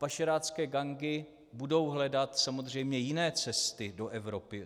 Pašerácké gangy budou hledat samozřejmě jiné cesty do Evropy.